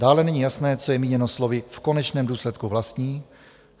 Dále není jasné, co je míněno slovy "v konečném důsledku vlastní".